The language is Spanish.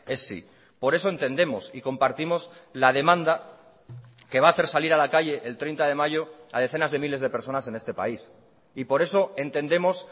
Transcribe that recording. es sí por eso entendemos y compartimos la demanda que va a hacer salir a la calle el treinta de mayo a decenas de miles de personas en este país y por eso entendemos